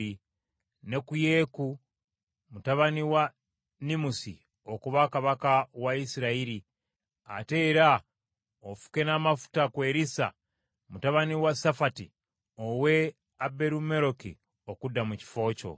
ne ku Yeeku mutabani wa Nimusi okuba kabaka wa Isirayiri, ate era ofuke n’amafuta ku Erisa mutabani wa Safati ow’e Aberumekola okudda mu kifo kyo.